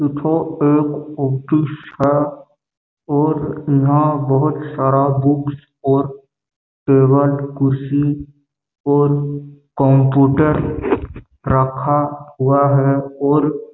इ थो एक ऑफिस है और यहाँ बहुत सारा बुक्स और टेबल कुर्सी और कंप्यूटर रखा हुआ है और--